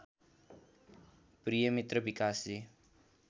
प्रिय मित्र विकासजी